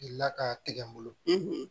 Gilila ka tigɛ n bolo